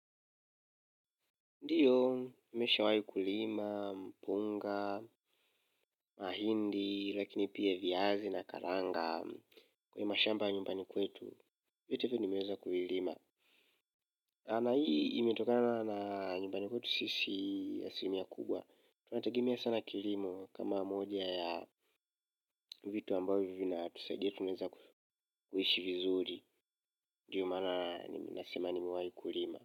Ndiyo, nimesha wahi kulima, mpunga, mahindi, lakini pia viazi na karanga kwa hii ma shamba nyumbani kwetu, vitu hivi nimeweza kulima na hii imetokana na nyumbani kwetu sisi ya aslimia kubwa. Tunategemea sana kilimo kama moja ya vitu ambavyo vina tusaidia tumeweza kuishi vizuri ndiyo maana nasema nimewahi kulima.